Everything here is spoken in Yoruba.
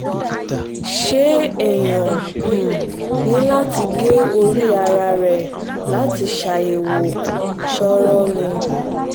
ṣé èèyàn um ní láti gé orí um ara ẹ̀ láti ṣàyẹ̀wò koro ni